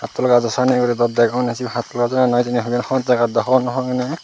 hattol gajo sanyen guri daw degong eney sibey hattol gaj oi ni noi hijeni eben hon jagat daw hobor naw pang eney.